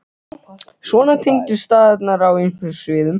Já, svona tengdust staðirnir á ýmsum sviðum.